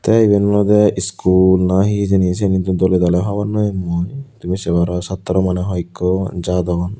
tay iban oloday school na he hejani seane hintu dolay dalay hogornopame mui tumi saye parow satorow manay hoeko jadon.